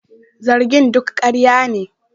Zargin duk karya ne